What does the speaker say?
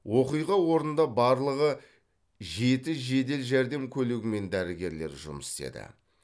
оқиға орнында барлығы жеті жедел жәрдем көлігімен дәрігерлер жұмыс істеді